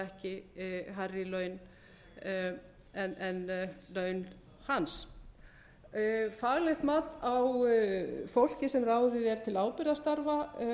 ekki hærri laun en laun hans faglegt mat á fólki sem ráðið er til ábyrgðarstarfa